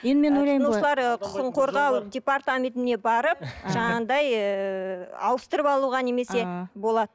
тұтынушылар ы құқығын қорғау департаментіне барып жаңағыдай ыыы ауыстырып алуға немесе болады